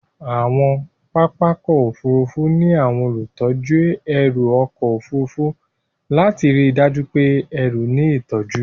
Àwọn pápá ọkọ̀ Òfurufú ní àwọn olùtọ́jú ẹrù ọkọ̀ Òfurufú lati ríi dájú pé ẹrù ní ìtọ́jú.